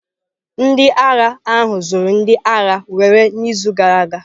Ndị agha ahụ zụrụ ndị agha were n'izu gara aga.